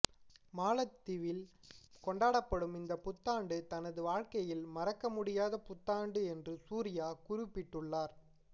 மாலத்தீவில் கொண்டாடும் இந்த புத்தாண்டு தனது வாழ்க்கையில் மறக்க முடியாத புத்தாண்டு என்று சூர்யா குறிப்பிட்டுள்ளார்